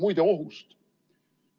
Muide, ohust.